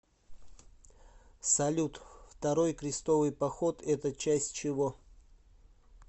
салют второй крестовый поход это часть чего